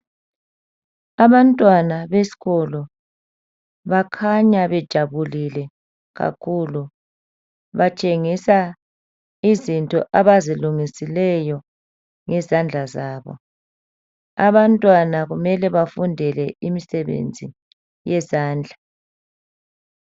Abantwana beskolo bakhanya bejabulile kakhulu batshengisa izinto abazilungisileyo ngezandla zabo. Abantwana kumele bafundele imisebenzi yezandla.